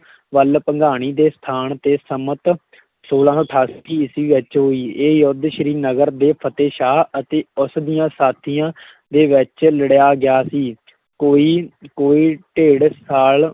ਵੱਲ ਭੰਗਾਣੀ ਦੇ ਸਥਾਨ ਤੇ ਸੰਮਤ ਛੋਲਾਂ ਸੌ ਅਠਾਸੀ ਈਸਵੀ ਵਿੱਚ ਹੋਈ, ਇਹ ਯੁੱਧ ਸ੍ਰੀਨਗਰ ਦੇ ਫਤਿਹਸ਼ਾਹ ਅਤੇ ਉਸ ਦੀਆਂ ਸਾਥੀਆਂ ਦੇ ਵਿੱਚ ਲੜਿਆ ਗਿਆ ਸੀ ਕੋਈ ਕੋਈ ਡੇਢ ਸਾਲ